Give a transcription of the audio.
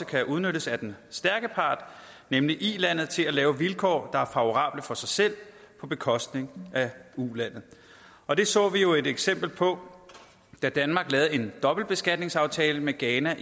kan udnyttes af den stærke part nemlig ilandet til at lave vilkår der er favorable for sig selv på bekostning af ulandet og det så vi jo et eksempel på da danmark lavede en dobbeltbeskatningsaftale med ghana